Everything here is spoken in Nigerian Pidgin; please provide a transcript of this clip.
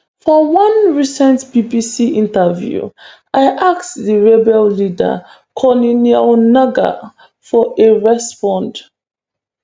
for one recent bbc interview i ask di rebel leader corneille nangaa for a response